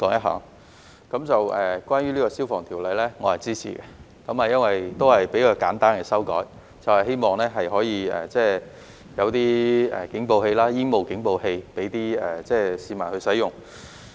關於《2021年消防規例》，我是支持的，因為這也是比較簡單的修改，希望可以有警報器、煙霧警報器供市民使用。